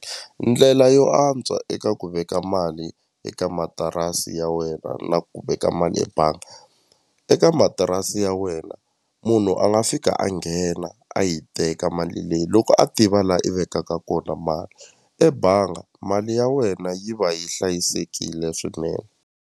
Ndlela yo antswa eka ku veka mali eka matirasi ya wena na ku veka mali ebanga eka matirasi ya wena munhu a nga fika a nghena a yi teka mali leyi loko a tiva la i vekaka kona mali ebanga mali ya wena yi va yi hlayisekile swinene.